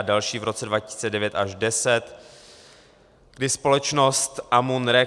a další v roce 2009 až 2010, kdy společnost Amun.Re